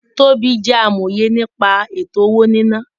Tobí jẹ́ amòye nípa ètò-owó-níná